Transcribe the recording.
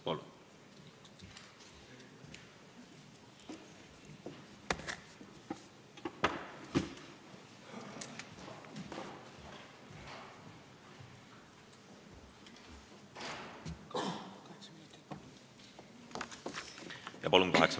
Palun, kaheksa minutit!